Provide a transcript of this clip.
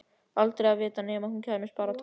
Aldrei að vita nema hún kæmist bara á toppinn.